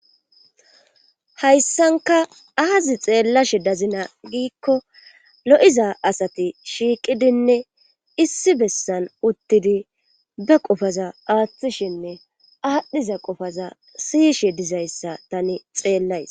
Hayssanka aazi xeellashe dazina giikko lo7iza asati shiiqidinne issi bessan uttidi ba qofaza aaththishinne aadhdhiza qofaza siyishe dizayssa tani xeellays.